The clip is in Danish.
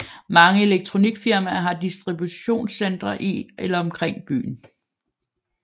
Mange elektronikfirmaer har distributionscentre i eller omkring byen